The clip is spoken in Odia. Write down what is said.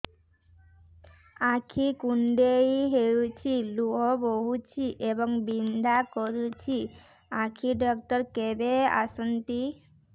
ଆଖି କୁଣ୍ଡେଇ ହେଉଛି ଲୁହ ବହୁଛି ଏବଂ ବିନ୍ଧା କରୁଛି ଆଖି ଡକ୍ଟର କେବେ ଆସନ୍ତି